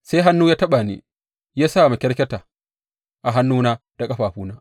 Sai hannu ya taɓa ni ya sa makyarkyata a hannuna da ƙafafuna.